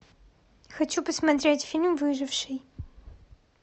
хочу посмотреть фильм выживший